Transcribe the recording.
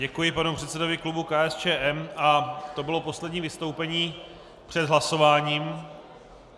Děkuji panu předsedovi klubu KSČM a to bylo poslední vystoupení před hlasováním.